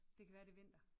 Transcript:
Det kan være det er vinter